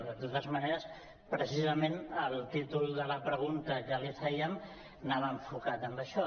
de totes maneres precisament el títol de la pregunta que li fèiem anava enfocat en això